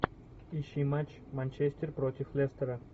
ищи матч манчестер против лестера